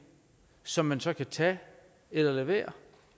som man så kan tage eller lade være